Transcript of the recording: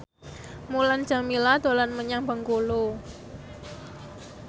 Mulan Jameela dolan menyang Bengkulu